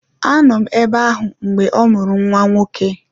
Anọ m ebe ahụ mgbe ọ mụrụ nwa nwoke